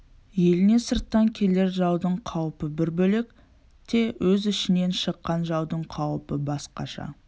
еліне сырттан келер жаудың қаупі бір бөлек те өз ішінен шыққан жаудың қаупі басқаша